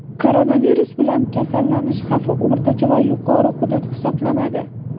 koronavirus bilan kasallanish xavfi o‘rtacha va yuqori hudud hisoblanadi.